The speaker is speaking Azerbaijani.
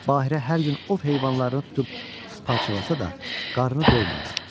Bahirə hər gün ov heyvanlarını tutub parçalasa da, qarnı doymurdu.